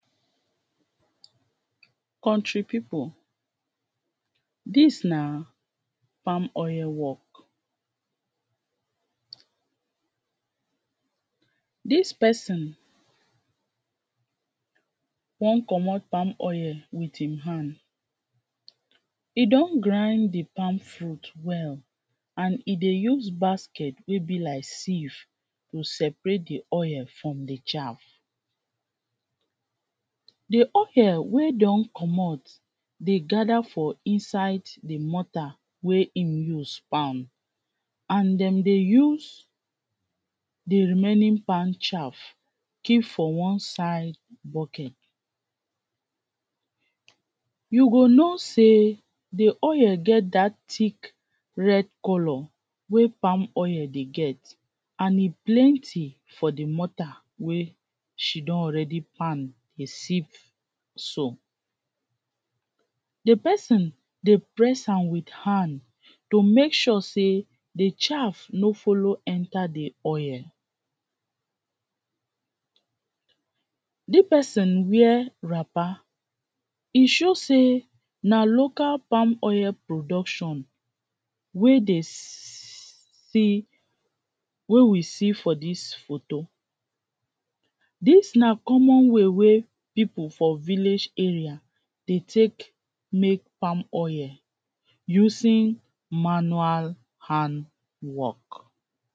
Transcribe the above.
country people, dis na palm oil work. Dis pesin wan comot palm oil wit im hand. e don grind de palm fruit well, and e dey use basket wey be like sieve to separate de oil from de chaf. De oil wey don comot dey gada for inside de mortar wey im use pound, and dem dey use de remaining pound chaf keep for one side bucket. You go know say de oil get dat tick red colour wey palm oil dey get, and e plenty for de mortar wey she don already pound dey sieve so. De pesin dey press am wit hand to make sure sey de chaf no follow enter de oil. De pesin wear wrapper, e show sey, na local palm oil production wey dey seee, wey we see for dis photo. Dis na common way wey people for village area dey take make palm oil using manual hand work.